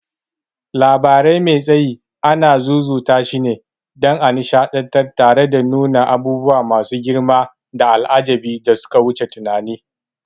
Labari mai tsayi anan zuzutashine, dan a nishadantar tare da nuna abubuwa masu girmanda al'ajabi da suka wuce tunani.